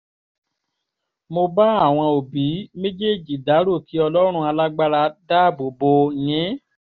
mo bá àwọn òbí méjèèjì dárò kí ọlọ́run alágbára dáàbò bò yín